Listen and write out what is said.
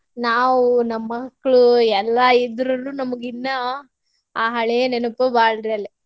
ನಾವು ನಮ್ಮ್ ಮಕ್ಳು ಎಲ್ಲಾ ಇದ್ರುನು ನಮಗ್ ಇನ್ನ ಆ ಹಳೆ ನೆನಪು ಬಾಳ್ರಿ ಅಲ್ಲಿ.